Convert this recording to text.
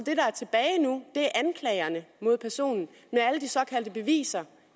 det anklagerne mod personen men alle de såkaldte beviser